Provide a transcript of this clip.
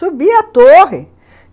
Subia a torre.